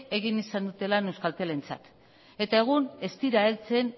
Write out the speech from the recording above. egin izan dute lan euskaltelentzat eta egun ez dira heltzen